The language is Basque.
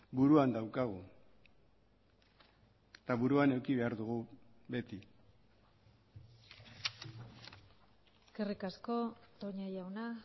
buruan daukagu eta buruan eduki behar dugu beti eskerrik asko toña jauna